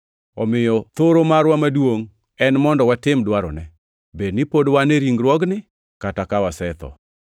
Omiyo thoro marwa maduongʼ en mondo watim dwarone, bed ni pod wan e ringruogni kata ka wasetho.